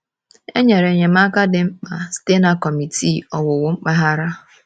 E nyere enyemaka dị mkpa site na Kọmitii Owuwu Mpaghara.